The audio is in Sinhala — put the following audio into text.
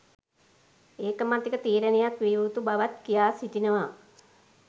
ඒකමතික තීරණයක් විය යුතු බවත් කියා සිටිනවා.